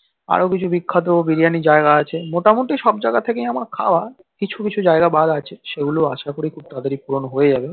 আরো কিছু বিখ্যাত বিরিয়ানি জায়গা আছে মোটামুটি সব জায়গা থেকেই আমার খাওয়ার কিছু কিছু জায়গা আছে সেগুলো আশাকরি খুব তাড়াতাড়ি পূরণ হয়ে যাবে